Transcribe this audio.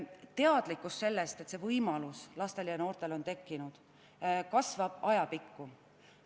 Teadlikkus sellest, et niisugune võimalus on lastel ja noortel olemas, kasvab ajapikku.